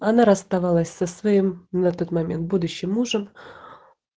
она расставалась со своим на тот момент будущим мужем